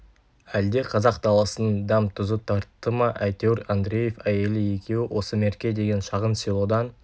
әлде қазақ даласының дәм-тұзы тартты ма әйтеуір андреев әйелі екеуі осы мерке деген шағын селодан